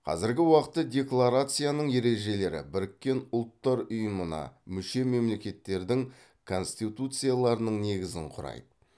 қазіргі уақытта декларацияның ережелері біріккен ұлттар ұйымына мүше мемлекеттердің конституцияларының негізін құрайды